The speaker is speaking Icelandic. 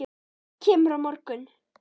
Kemurðu á morgun?